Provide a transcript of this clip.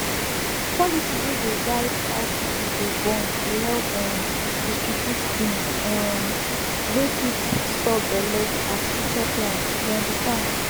policy wey dey guide how people dey born dey help um distribute things um wey fit stop belleas future plans you understand